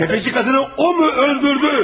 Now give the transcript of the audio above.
Dəvəcik qadını o mu öldürdü?